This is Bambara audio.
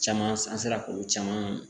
Caman an sera k'olu caman